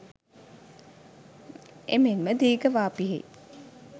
එමෙන්ම දීඝවාපියෙහි